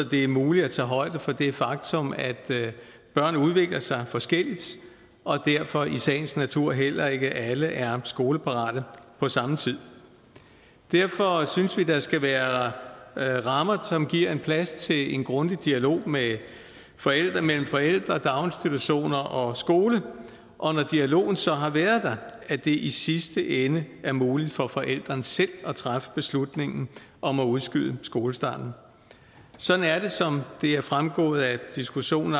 det er muligt at tage højde for det faktum at børn udvikler sig forskelligt og derfor i sagens natur heller ikke alle er skoleparate på samme tid derfor synes vi der skal være rammer som giver plads til en grundig dialog mellem forældre mellem forældre daginstitutioner og skole og når dialogen så har været der at det i sidste ende er muligt for forældrene selv at træffe beslutningen om at udskyde skolestarten sådan er det som det allerede er fremgået af diskussionen